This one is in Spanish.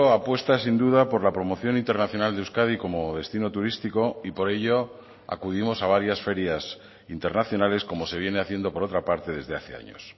apuesta sin duda por la promoción internacional de euskadi como destino turístico y por ello acudimos a varias ferias internacionales como se viene haciendo por otra parte desde hace años